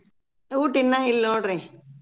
ಊಟ ಇನ್ನ ಇಲ್ನೋಡ್ರಿ.